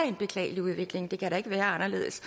en beklagelig udvikling det kan da ikke være anderledes